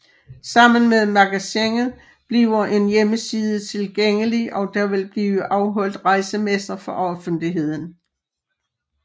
Sammen med magasinet bliver en hjemmeside tilgængelig og der vil blive afholdt rejsemesser for offentligheden